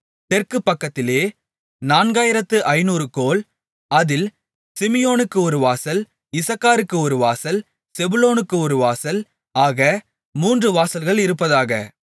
தெற்கு பக்கத்திலே நான்காயிரத்து ஐந்நூறு கோல் அதில் சிமியோனுக்கு ஒரு வாசல் இசக்காருக்கு ஒரு வாசல் செபுலோனுக்கு ஒரு வாசல் ஆக மூன்று வாசல்கள் இருப்பதாக